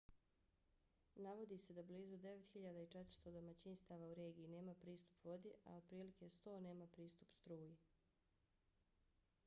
navodi se da blizu 9400 domaćinstava u regiji nema pristup vodi a otprilike 100 nema pristup struji